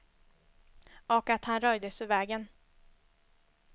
Och att han röjdes ur vägen.